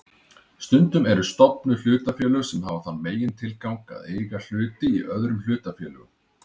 Stundum eru stofnuð hlutafélög sem hafa þann megintilgang að eiga hluti í öðrum hlutafélögum.